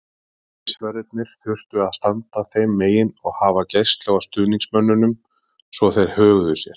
Öryggisverðir þurftu að standa þeim megin og hafa gæslu á stuðningsmönnunum svo þeir höguðu sér.